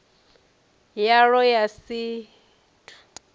yalwo ya si t ut